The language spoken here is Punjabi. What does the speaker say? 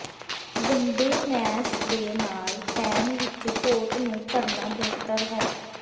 ਗੰਦੇ ਮੈਸ ਦੇ ਨਾਲ ਪੈਨ ਵਿਚ ਪੋਟ ਨੂੰ ਭਰਨਾ ਬਿਹਤਰ ਹੈ